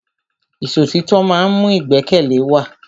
Ìṣọ̀títọ́ ma ń mú ìgbẹ́kẹ̀lé wa.